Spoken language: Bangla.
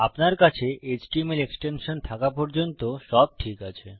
আপনার কাছে এচটিএমএল এক্সটেনশন থাকা পর্যন্ত সব ঠিক আছে